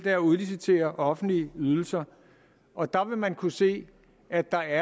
at udlicitere offentlige ydelser og der vil man kunne se at der